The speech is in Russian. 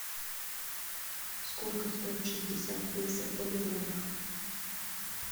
сколько стоит шестьдесят песо в боливарах